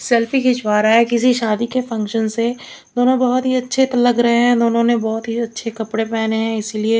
selfie खिंचवा रहा है किसी शादी के फंक्शन से दोनों बहोत ही अच्छे लग रहे है दोनों ने बहोत ही अच्छे कपड़े पेहने हैं इसी लिए--